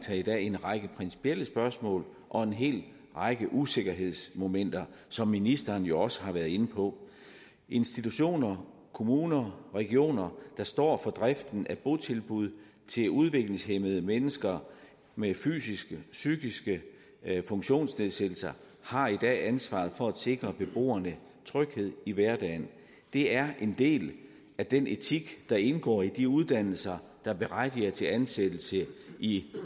her i dag en række principielle spørgsmål og en hel række usikkerhedsmomenter som ministeren jo også har været inde på institutioner kommuner og regioner der står for driften af botilbud til udviklingshæmmede mennesker med fysiske og psykiske funktionsnedsættelser har i dag ansvaret for at sikre beboerne tryghed i hverdagen det er en del af den etik der indgår i de uddannelser der berettiger til ansættelse i